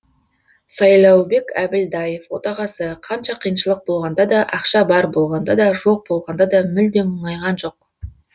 сайлаубек әбілдаев отағасы қанша қиыншылық болғанда да ақша бар болғанда да жоқ болғанда да мүлдем мұңайған жоқ